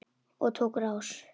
Og tók á rás.